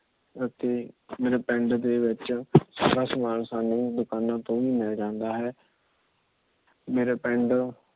ਅਤੇ ਮੇਰੇ ਪਿੰਡ ਦੇ ਵਿੱਚ ਸਾਰਾ ਸਮਾਨ ਸਾਂਨੂੰ ਦੁਕਾਨਾਂ ਤੋਂ ਮਿਲ ਜਾਂਦਾ ਹੈ। ਮੇਰੇ ਪਿੰਡ